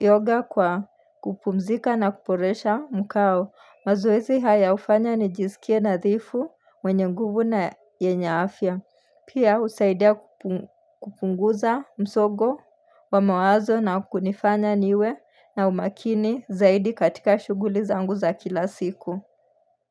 yoga kwa kupumzika na kuboresha mkao. Mazoezi haya ufanya ni jisikie nadhifu mwenye nguvu na yenye afya. Pia usaidia kupunguza msogo wa mawazo na kunifanya niwe na umakini zaidi katika shuguli zangu za kila siku.